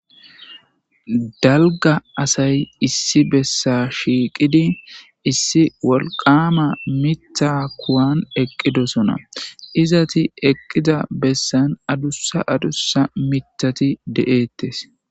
Dalga asay issi bessa shiiqidi issi wolqama mita kuwan eqqidosona izati eqqida bessan adussa adussa mitati de7eettes